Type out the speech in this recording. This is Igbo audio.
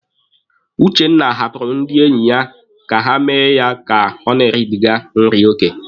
Uchenna hapụrụ ndị enyi ya ka ha mee ya ka o na-eribiga nri oke.